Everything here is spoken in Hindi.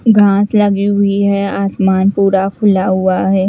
घास लगी हुई है आसमान पूरा खुला हुआ है।